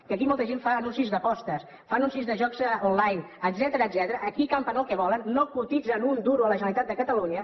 que aquí molta gent fa anuncis d’apostes fa anuncis de jocs online etcètera aquí campen el que volen no cotitzen un duro a la generalitat de catalunya